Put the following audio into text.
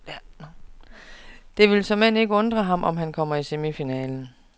Og det vil såmænd ikke undre ham, om han kommer i semifinalen.